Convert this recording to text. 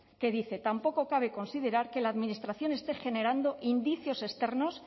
que dice tampoco cabe considerar que la administración esté generando indicios externos